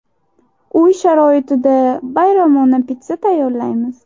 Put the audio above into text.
Uy sharoitida bayramona pitssa tayyorlaymiz.